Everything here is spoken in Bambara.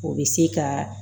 O bɛ se ka